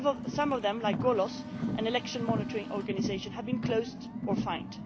Some of them, like Golos, an election monitoring organisation, have been closed or fined.